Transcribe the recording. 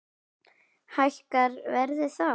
Hækkar verðið þá?